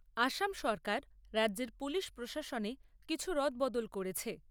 আসাম সরকার রাজ্যের পুলিশ প্রশাসনে কিছু রদবদল করেছে।